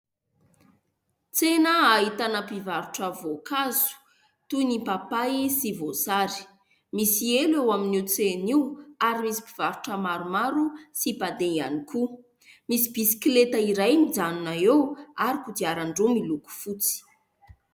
Tsena ahitana mpivarotra voankazo, toy ny papay sy voasary. Misy elo eo amin'io tsena io, ary misy mpivarotra maromaro sy mpandeha ihany koa. Misy bisikileta iray mijanona eo, ary kodiarandroa miloko fotsy.